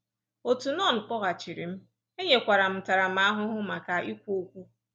Otu nọn kpọghachiri m, e nyekwara m ntaramahụhụ maka ikwu okwu.